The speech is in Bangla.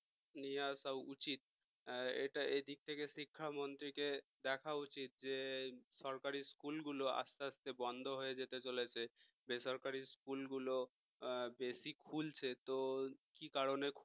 নিয়ে আসা উচিত এটা এদিক থেকে শিক্ষা মন্ত্রী কে দেখা উচিত যে সরকারি school গুলো আস্তে আস্তে বন্ধ হয়ে যেতে চলেছে বেসরকারি school গুলো বেশি খুলছে তো কি কারণে